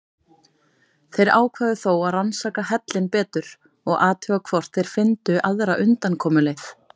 Þeir ákváðu þó að rannsaka hellinn betur og athuga hvort þeir fyndu aðra undankomuleið.